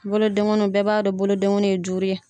Bolodengonuw bɛɛ b'a dɔn bolodengonuw ye duuru ye.